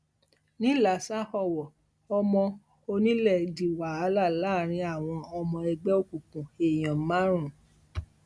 nílasa ọwọ ọmọ onílẹ di wàhálà láàrin àwọn ọmọ ẹgbẹ òkùnkùn èèyàn márùn